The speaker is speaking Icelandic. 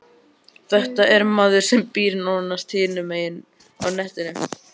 Þetta er maður sem býr nánast hinum megin á hnettinum.